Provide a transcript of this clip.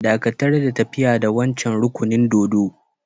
Dakatar da tafiya da wancan rukunin dōdo!